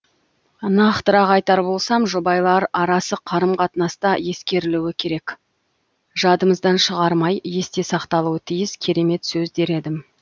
нақтырақ айтар болсам жұбайлар арасы қарым қатынаста ескерілуі керек жадымыздан шығармай есте сақталуы тиіс керемет сөз дер едім